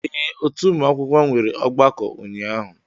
Ee otu ụmụ akwụkwọ nwere ọgbakọ ụnyahụ